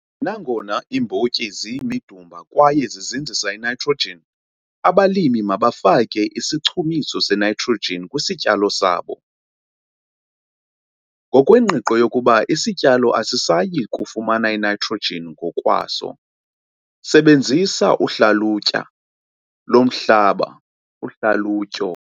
Nangona iimbotyi ziyimidumba kwaye zizinzisa initrogen abalimi mabafake isichumiso senitrogen kwisityalo sabo, ngokwengqiqo yokuba isityalo asisayi kufumana initrogen ngokwaso. Sebenzisa uhlalutya lomhlaba, uhlalutyo.